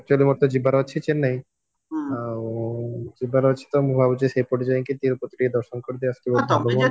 actually ତ ମୋର ଯିବାର ଅଛି ଚେନ୍ନାଇ ଆଉ ଯିବାର ଅଛି ତ ମୁଁ ଭାବୁଚି ଯାଇଙ୍କି ତିରୁପତି ଟିକେ ଦର୍ଶନ କରିଦେଇକି